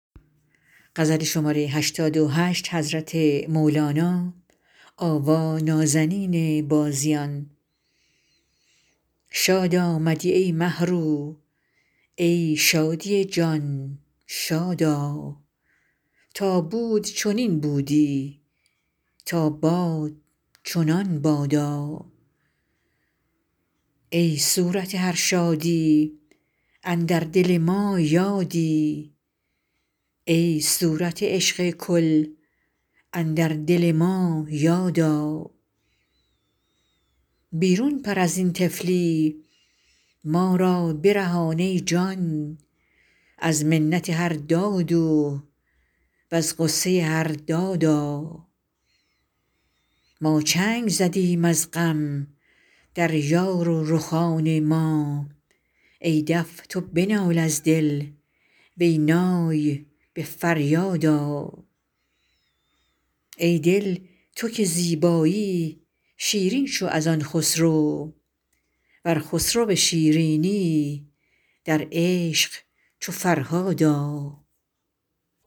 شاد آمدی ای مه رو ای شادی جان شاد آ تا بود چنین بودی تا باد چنان بادا ای صورت هر شادی اندر دل ما یادی ای صورت عشق کل اندر دل ما یاد آ بیرون پر از این طفلی ما را برهان ای جان از منت هر دادو وز غصه هر دادا ما چنگ زدیم از غم در یار و رخان ما ای دف تو بنال از دل وی نای به فریاد آ ای دل تو که زیبایی شیرین شو از آن خسرو ور خسرو شیرینی در عشق چو فرهاد آ